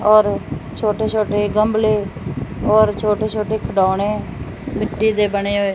ਔਰ ਛੋਟੇ ਛੋਟੇ ਗਮਲੇ ਔਰ ਛੋਟੇ ਛੋਟੇ ਖਿਡੋਨੇ ਮਿੱਟੀ ਦੇ ਬਣੇ ਹੋਏ--